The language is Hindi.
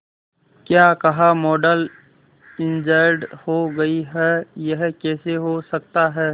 क्या कहा मॉडल इंजर्ड हो गई है यह कैसे हो सकता है